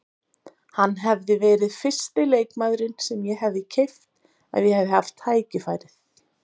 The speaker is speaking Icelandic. Hann hefði verið fyrsti leikmaðurinn sem ég hefði keypt ef ég hefði haft tækifærið.